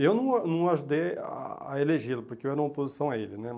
Eu não a não ajudei a a elegê-lo, porque eu era uma oposição a ele né.